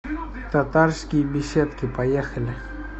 татарские беседки поехали